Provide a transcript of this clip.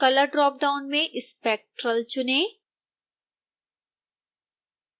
color dropdown में spectral चुनें